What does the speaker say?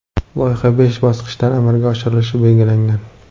Loyiha besh bosqichda amalga oshirilishi belgilangan.